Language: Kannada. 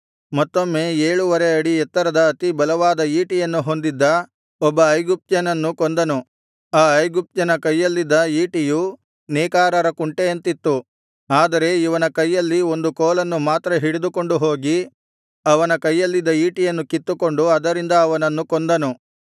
ಮತ್ತೊಮ್ಮೆ ಏಳುವರೆ ಅಡಿ ಎತ್ತರದ ಅತಿ ಬಲವಾದ ಈಟಿಯನ್ನು ಹೊಂದಿದ್ದ ಒಬ್ಬ ಐಗುಪ್ತ್ಯನನ್ನು ಕೊಂದನು ಆ ಐಗುಪ್ತ್ಯನ ಕೈಯಲ್ಲಿದ್ದ ಈಟಿಯು ನೇಕಾರರ ಕುಂಟೆಯಂತಿತ್ತು ಆದರೆ ಇವನ ಕೈಯಲ್ಲಿ ಒಂದು ಕೋಲನ್ನು ಮಾತ್ರ ಹಿಡಿದುಕೊಂಡು ಹೋಗಿ ಅವನ ಕೈಯಲ್ಲಿದ್ದ ಈಟಿಯನ್ನು ಕಿತ್ತುಕೊಂಡು ಅದರಿಂದ ಅವನನ್ನು ಕೊಂದನು